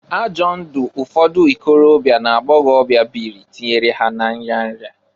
Ajọ ndụ ụfọdụ ikorobịa na agbọgọbịa bịrị tinyere ha na nyaya.